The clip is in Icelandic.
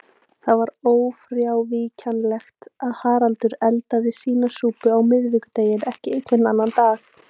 Það var ófrávíkjanlegt að Haraldur eldaði sína súpu á miðvikudegi en ekki einhvern annan dag.